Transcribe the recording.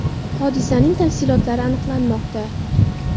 Hodisaning tafsilotlari aniqlanmoqda.